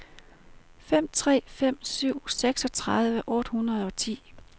fem tre fem syv seksogtredive otte hundrede og ti